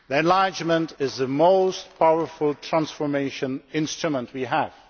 Enlargement is the most powerful transformation instrument we have.